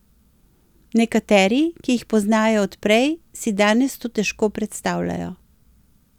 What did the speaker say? Nekateri, ki jih poznajo od prej, si danes to težko predstavljajo.